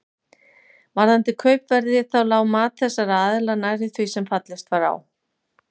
Varðandi kaupverðið þá lá mat þessara aðila nærri því sem fallist var á.